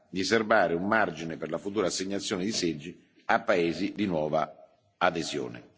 di serbare un margine per la futura assegnazione di seggi a paesi di nuova adesione.